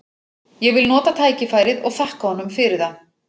Ég vil nota tækifærið og þakka honum fyrir það.